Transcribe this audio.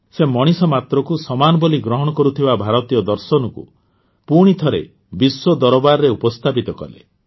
ସେ ମଣିଷମାତ୍ରକୁ ସମାନ ବୋଲି ଗ୍ରହଣ କରୁଥିବା ଭାରତୀୟ ଦର୍ଶନକୁ ପୁଣିଥରେ ବିଶ୍ୱଦରବାରରେ ଉପସ୍ଥାପିତ କଲେ